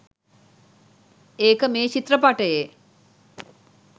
ඒක මේ චිත්‍රපටයේ.